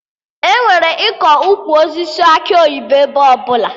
Enwere ịkọ Ukwu osisi akị oyibo ebe ọbụla